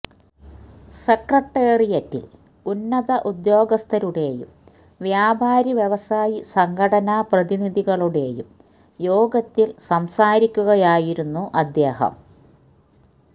സെക്രട്ടേറിയറ്റില് ഉന്നത ഉദ്യോഗസ്ഥരുടെയും വ്യാപാരി വ്യവസായി സംഘടനാ പ്രതിനിധികളുടെയും യോഗത്തില് സംസാരിക്കുകയായിരുന്നു അദ്ദേഹം